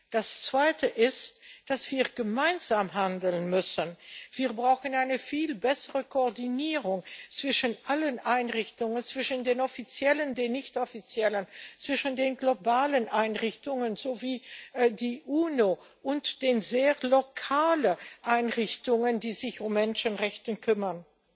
Das Zweite ist, dass wir gemeinsam handeln müssen. Wir brauchen eine viel bessere Koordinierung zwischen allen Einrichtungen, zwischen den offiziellen, den nicht offiziellen, zwischen den globalen Einrichtungen wie der UNO und den sehr lokalen Einrichtungen, die sich um Menschenrechte kümmern.